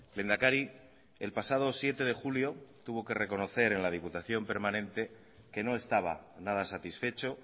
lehendakari el pasado siete de julio tuvo que reconocer en la diputación permanente que no estaba nada satisfecho